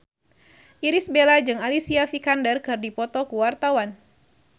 Irish Bella jeung Alicia Vikander keur dipoto ku wartawan